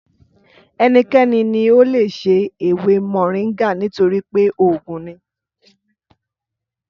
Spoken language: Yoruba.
Ẹnikẹ́ni ní o leè se ewé mòríngà nítorípé oògùn ni